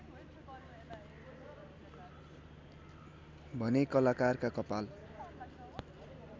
भने कलाकारका कपाल